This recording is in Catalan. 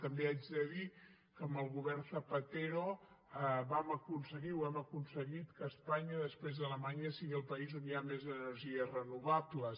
també haig de dir que amb el govern zapatero vam aconseguir o hem aconseguit que espanya després d’alemanya sigui el país on hi hagi més energies renovables